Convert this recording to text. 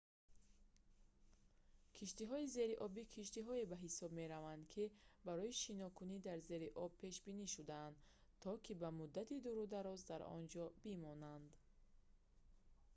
киштиҳои зериобӣ киштиҳое ба ҳисоб мераванд ки барои шинокунӣ дар зери об пешбинӣ шудаанд то ки ба муддати дурудароз дар он ҷо бимонанд